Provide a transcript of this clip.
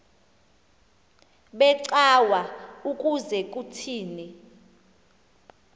becawa ukuze kuthini